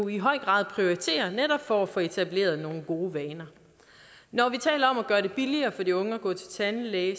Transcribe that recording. i høj grad prioriterer netop for at få etableret nogle gode vaner når vi taler om at gøre det billigere for de unge at gå til tandlæge